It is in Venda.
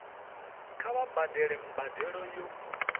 kha vha badele mbadelo yo